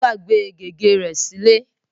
ó gbàgbé gègé rẹ sílé.